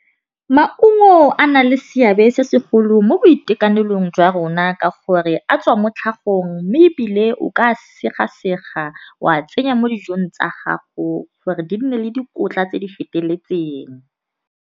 Maungo a na le seabe se segolo mo boitekanelong jwa rona ka gore a tswa mo tlhagong. Mme ebile o ka sega sega wa tsenya mo dijong tsa gago gore di nne le dikotla tse di feteletseng.